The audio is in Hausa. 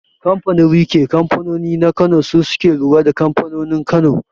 Kanfanin riƙe kanfanoni na kano su suke lura da kamfanonin Kano